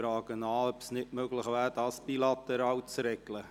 Ich frage ihn, ob es nicht möglich wäre, dies bilateral zu regeln.